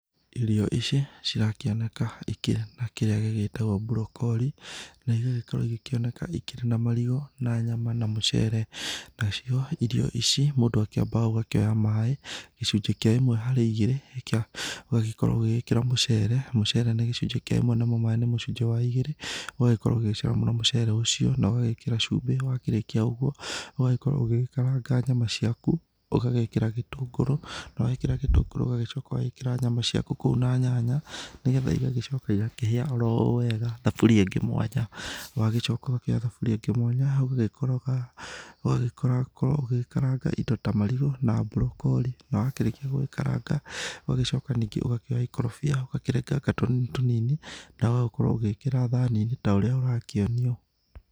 Irio ici cirakĩoneka ikĩhana kĩrĩa gĩgĩtagwo mbũrokori, na igagĩkorwo ikĩoneka ikĩrĩ na marigũ na nyama na mũcere. Nacio irio ici mũndũa kĩambaga ũgakĩoya maaĩ gĩcunjĩ kĩa ĩmwe harĩ igĩrĩ kĩa ũgahĩkorwo ũgĩkĩra mũcere, mũcere ni gĩcunjĩ kĩa ĩmwe na mo maaĩ nĩ mũcunjĩ wa igĩrĩ, ũgagĩkorwo ũgĩcamũra mũcere ũcio na ũgagĩkĩra cumbĩ. Wakĩrĩkia ũguo, ũgagĩkorwo ũgĩgĩkaranga nyama ciaku, ugagĩkĩra gĩtũngũrũ na wekĩra gĩtũngũrũ ũgagĩcoka ũgekĩra nyama ciaku kũu na nyanya nĩgetha igagĩcoka igakĩhĩa o ro wega thaburia ingĩ mwanya. Ũgagĩcoka ũkoya thaburĩa ĩngĩ mwanya ũgagĩkoroga ũgagĩkorwo ũgĩkaranga indo ta marigũ na mburokori na warĩkia gũgĩkaranga ũgacoka ningĩ ũgakĩoya ikorobia ũgakĩrenganga tũnini tũnini na ũgakorwo ũgĩkĩra thani taũrĩa ũrakĩonio.